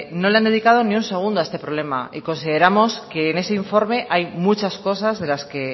no le han dedicado ni un segundo a este problema y consideramos que en ese informe hay muchas cosas de las que